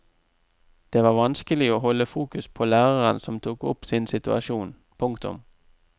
Det var vanskelig å holde fokus på læreren som tok opp sin situasjon. punktum